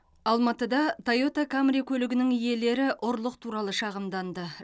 алматыда тойота камри көлігінің иелері ұрлық туралы шағымданды